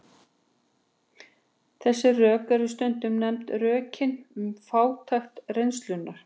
Þessi rök eru stundum nefnd rökin um fátækt reynslunnar.